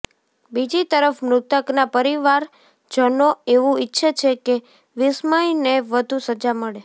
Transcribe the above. બીજી તરફ મૃતકના પરિવારજનો એવું ઈચ્છે છે કે વિસ્મયને વધું સજા મળે